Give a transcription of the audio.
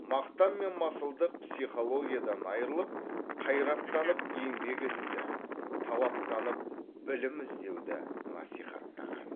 мақтан мен масылдық психологиядан айрылып қайраттанып еңбек етуді талаптанып білім іздеуді насихаттаған